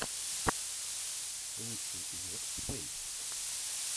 лучший эпизод фейс